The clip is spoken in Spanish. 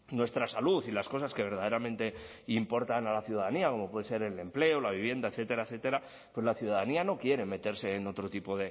nuestra salud y las cosas que verdaderamente importan a la ciudadanía como puede ser el empleo la vivienda etcétera etcétera pero la ciudadanía no quiere meterse en otro tipo